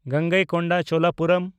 Gangaikonda Cholapuram